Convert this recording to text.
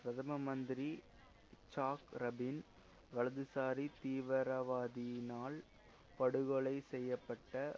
பிரதம மந்திரி Yitzhak Rabin வலதுசாரி தீவிரவாதியினால் படுகொலை செய்ய பட்ட